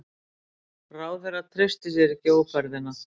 Ráðherra treysti sér ekki í ófærðina